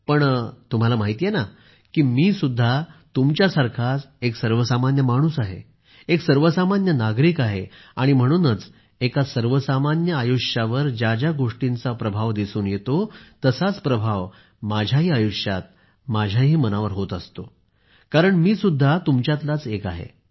पण तुम्हाला माहिती आहेच की मीसुद्धा तुमच्यासारखाच एक सर्वसामान्य माणूस आहे एक सर्वसामान्य नागरिक आहे आणि म्हणूनच एका सर्वसामान्य आयुष्यावर ज्या ज्या गोष्टींचा प्रभाव दिसून येतो तसाच प्रभाव माझ्याही आयुष्यात माझ्याही मनावर होत असतो कारण मी सुद्धा तुमच्यातलाच एक आहे